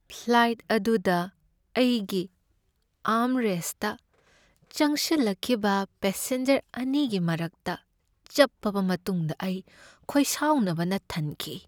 Flight ꯑꯗꯨꯗ ꯑꯩꯒꯤ ꯑꯥꯔꯝꯔꯦꯁꯠꯇ ꯆꯪꯁꯟꯂꯛꯈꯤꯕ ꯄꯦꯁꯦꯟꯖꯔ ꯑꯅꯤꯒꯤ ꯃꯔꯛꯇ ꯆꯞꯄꯕ ꯃꯇꯨꯡꯗ ꯑꯩ ꯈꯣꯏꯁꯥꯎꯅꯕꯅ ꯊꯟꯈꯤ ꯫